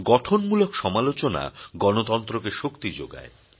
গঠনমূলক সমালোচনা গণতন্ত্রকে শক্তি যোগায়